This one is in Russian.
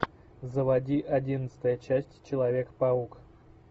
заводи одиннадцатая часть человек паук